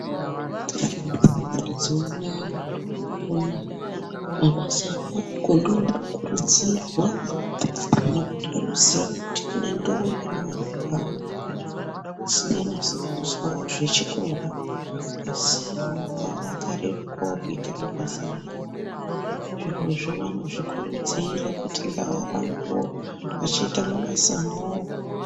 Mazuwa anaya mukupona kwedu mabasa emaoko ndiwo otokurudzirwa nekuti vanoziya kuti kune ndombi nearumbwana asikanasi kuzwawo zvechikora asi maoko awo akarerukawo kuita mabasa emaoko, zvirozvo vanozvikurudzira kuti ngavarambe veitawo mabasa emaoko.